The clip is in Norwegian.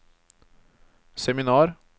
seminar